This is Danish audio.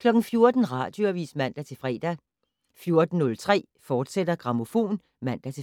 14:00: Radioavis (man-fre) 14:03: Grammofon, fortsat (man-fre)